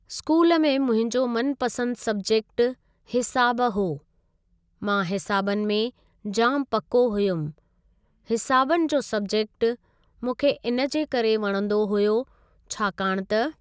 School में मुंहिंजो मनपसंदि सब्जेक्ट हिसाबु हो मां हिसाॿनि में जाम पको हुयमि हिसाबनि जो सब्जेक्ट मूंखे इन जे करे वणंदो हुयो छाकाणि त।